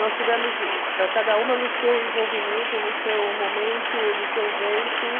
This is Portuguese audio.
Nós tivemos cada uma no seu envolvimento, no seu momento, do seu jeito.